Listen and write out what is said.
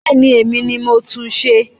Bẹ́ẹ̀ni, èmi ni mo tún n ṣe